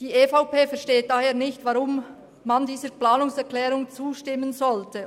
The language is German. Die EVP versteht daher nicht, weshalb man dieser Planungserklärung zustimmen sollte.